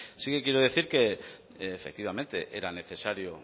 sí que quiero decir que efectivamente era necesario